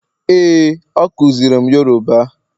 ee, o kuziri m Yoruba